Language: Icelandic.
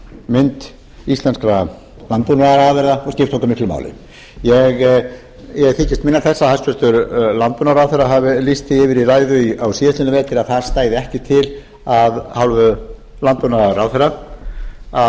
hreinleikamynd íslenskra landbúnaðarafurða skipti okkur miklu máli ég þykist minnast þess að hæstvirtur landbúnaðarráðherra hafi lýst því yfir í ræðu á síðastliðnum vetri að það stæði ekki til af hálfu landbúnaðarráðherra að